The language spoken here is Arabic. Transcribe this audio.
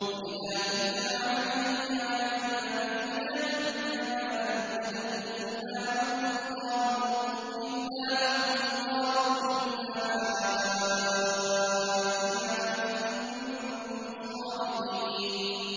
وَإِذَا تُتْلَىٰ عَلَيْهِمْ آيَاتُنَا بَيِّنَاتٍ مَّا كَانَ حُجَّتَهُمْ إِلَّا أَن قَالُوا ائْتُوا بِآبَائِنَا إِن كُنتُمْ صَادِقِينَ